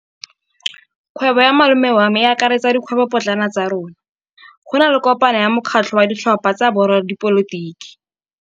Kgwêbô ya malome wa me e akaretsa dikgwêbôpotlana tsa rona. Go na le kopanô ya mokgatlhô wa ditlhopha tsa boradipolotiki.